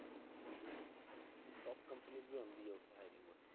ਤੇ top companies ਵੀ ਆਉਂਦੀ ਆ ਉੱਥੇ hiring ਵਾਸਤੇ